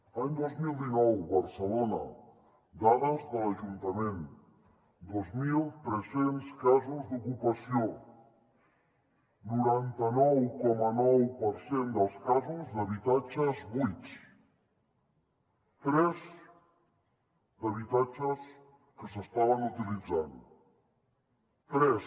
any dos mil dinou barcelona dades de l’ajuntament dos mil tres cents casos d’ocupació noranta nou coma nou per cent dels casos d’habitatges buits tres d’habitatges que s’estaven utilitzant tres